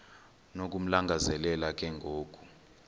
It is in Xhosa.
nokumlangazelela ke ngoku